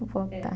É... voltar.